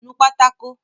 Nu pátákó!